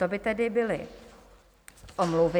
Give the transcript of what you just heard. To by tedy byly omluvy.